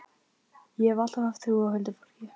Ég hef alltaf haft trú á huldufólki.